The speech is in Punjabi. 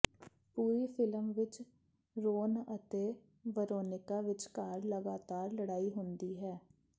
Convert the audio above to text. ਪੂਰੀ ਫ਼ਿਲਮ ਵਿਚ ਰੋਨ ਅਤੇ ਵਰੋਨੀਕਾ ਵਿਚਕਾਰ ਲਗਾਤਾਰ ਲੜਾਈ ਹੁੰਦੀ ਹੈ